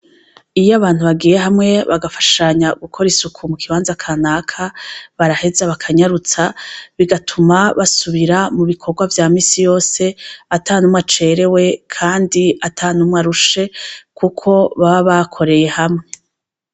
Iyo abantu bagiye hamwe bagafashanya gukora isuku mukibanza kanaka baraheza bakanyarutsa bigatuma basubira mubikorwa vyamisi yose atanumwe acerewe kandi atanumwe arushe kuko baba bakoreye hamwe.